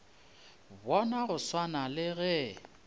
bona go swana le ge